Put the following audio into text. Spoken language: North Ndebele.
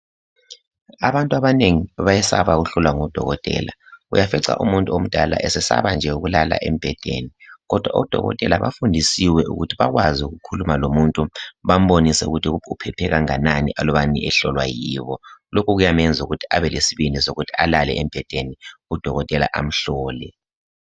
Abantu abanengi bayesaba ukuhlola ngodokotela. Uyafikca umuntu omdala esesaba nje ukulala embhedeni kodwa odokotela bafundisiwe ukuthi bakwazi ukukhuluma lomuntu bambonise ukuthi uphephe kanganani alubana ehlolwa yibo. Lokhu kwenza ukuthi abe lesibindi sokubana alale embhedeni udokotela amhlole.